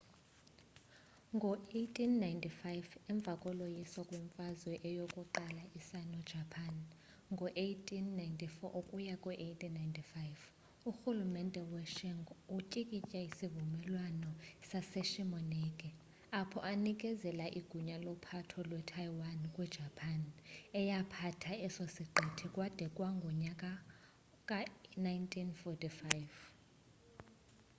ngo-1895 emva koloyiso kwimfazo yokuqala ye-sino-japanese ngo-1894-1895 urhulumente we-qing utyikitya isivumelwano saseshimoneki apho enekezela igunya lophatho lwe-taiwan kwi-japan eyaphatha eso siqithi kwade kwangu-1945